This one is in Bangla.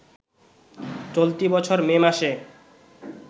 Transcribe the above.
চলতি বছর মে মাসে